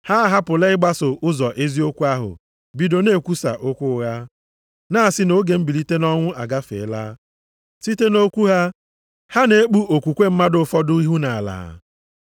Ha ahapụla ịgbaso ụzọ eziokwu ahụ bido na-ekwusa okwu ụgha, na-asị na oge mbilite nʼọnwụ agafeela. Site nʼokwu ha, ha na-ekpu okwukwe mmadụ ụfọdụ ihu nʼala.